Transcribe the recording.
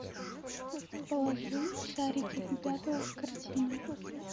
положи шарики любятово в корзину